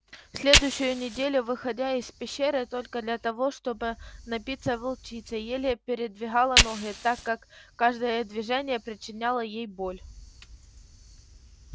следующую неделю выходя из пещеры только для того чтобы напиться волчица еле передвигала ноги так как каждое движение причиняло ей боль